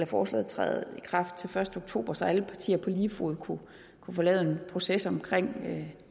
forslaget træde i kraft til den første oktober så alle partier på lige fod kunne få lavet en proces omkring